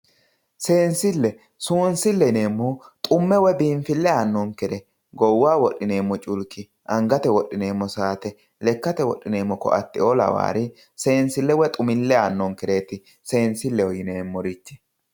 Seensile, seensile yineemmohu xume woyi biinfile aanonkere goowaho wodhineemmo culiki angate wodhineemmo saate lekkate wodhineemmo koatteo laware seensile woyi xumile aanonekereti seensileho yineemmorichi.